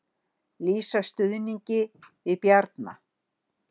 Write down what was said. Lýsa stuðningi við Bjarna